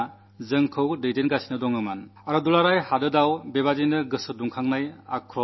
അപ്പോൾ നാടെങ്ങും ഒരു ആവേശമുണ്ടായിരുന്നു രോഷമുണ്ടായിരുന്നു ദേശസ്നേഹത്തിന്റെ വേലിയേറ്റമുണ്ടായിരുന്നു